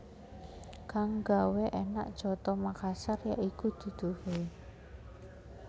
Kang gawé énak coto Makassar ya iku duduhé